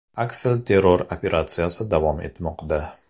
Aksilterror operatsiyasi davom etmoqda.